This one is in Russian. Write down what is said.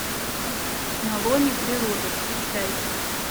на лоне природы включай